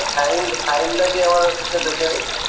file